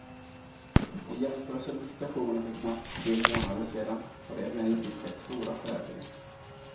I jämförelse med situationen för knappt tre månader sedan har det emellertid skett stora förändringar.